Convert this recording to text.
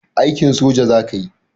Aikin soja zakayi